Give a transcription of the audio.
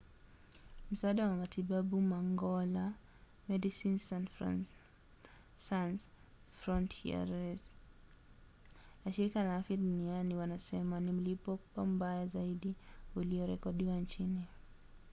msaada wa matibabu mangola medecines sans frontieres na shirika la afya duniani wanasema ni mlipuko mbaya zaidi uliorekodiwa nchini